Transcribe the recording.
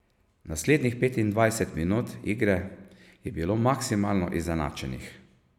Naslednjih petindvajset minut igre je bilo maksimalno izenačenih.